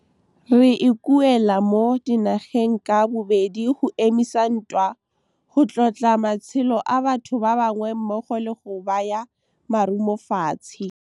Re ikuela mo dinageng ka bobedi go emisa ntwa, go tlotla matshelo a batho ba bangwe mmogo le go baya marumofatshe. Re ikuela mo dinageng ka bobedi go emisa ntwa, go tlotla matshelo a batho ba bangwe mmogo le go baya marumofatshe.